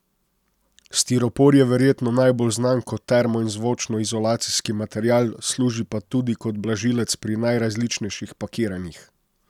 Stiropor je verjetno najbolj znan kot termo in zvočno izolacijski material, služi pa tudi kot blažilec pri najrazličnejših pakiranjih.